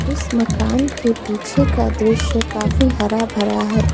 इस मकान के पीछे का दृश्य काफी हरा भरा है।